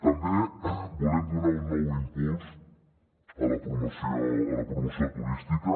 també volem donar un nou impuls a la promoció turística